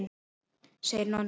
segir Nonni.